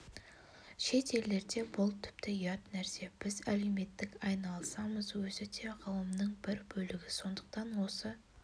шет елдерде бұл тіпті ұят нәрсе біз әлеуметтік айналысамыз өзі де ғылымның бір бөлігі сондықтан осы